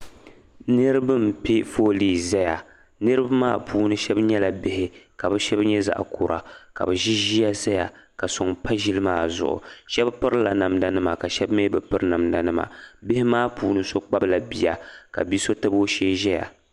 Niriba pɛ fooli ʒiya niriba maa puuni shɛba nyɛla bihi ka shɛba nyɛ zaɣ'kura ka ʒiya zaya ka sɔŋ pa ʒiya maa zuɣu shɛba pirila namdanima ka shɛba mi piri namdanima bihi puuni so kpabila bia ka bi'so tab o shee ʒia